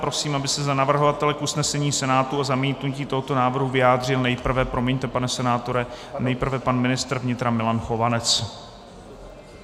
Prosím, aby se za navrhovatele k usnesení Senátu o zamítnutí tohoto návrhu vyjádřil nejprve - promiňte, pane senátore - nejprve pan ministr vnitra Milan Chovanec.